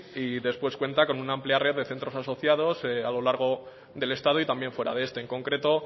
y después cuenta con una amplia red de centros asociados a lo largo del estado y también fuera de este en concreto